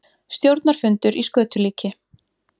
Stjórnarfundur í skötulíki